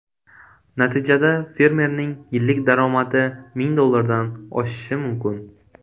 Natijada fermerning yillik daromadi ming dollardan oshishi mumkin.